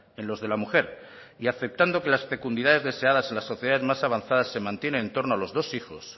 en los de la mujer y aceptando que las fecundidades deseadas en las sociedades más avanzadas se mantienen en torno a los dos hijos